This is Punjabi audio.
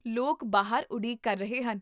ਲੋਕ ਬਾਹਰ ਉਡੀਕ ਕਰ ਰਹੇ ਹਨ